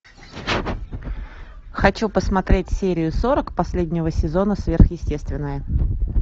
хочу посмотреть серию сорок последнего сезона сверхъестественное